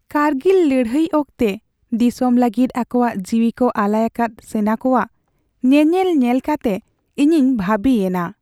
ᱠᱟᱨᱜᱤᱞ ᱞᱟᱹᱲᱦᱟᱹᱭ ᱚᱠᱛᱮ ᱫᱤᱥᱚᱢ ᱞᱟᱹᱜᱤᱫ ᱟᱠᱚᱣᱟᱜ ᱡᱤᱣᱤ ᱠᱚ ᱟᱞᱟᱭ ᱟᱠᱟᱫ ᱥᱮᱱᱟ ᱠᱚᱣᱟᱜ ᱧᱮᱱᱮᱞ ᱧᱮᱞ ᱠᱟᱛᱮ ᱤᱧᱤᱧ ᱵᱷᱟᱹᱵᱤᱭᱮᱱᱟ ᱾